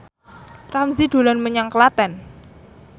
Ramzy dolan menyang Klaten